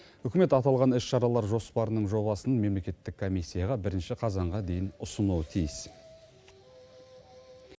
үкімет аталған іс шаралар жоспарының жобасын мемлекеттік комиссияға бірінші қазанға дейін ұсынуы тиіс